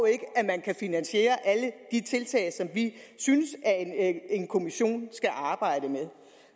ikke at man kan finansiere alle de tiltag som vi synes at en kommission skal arbejde med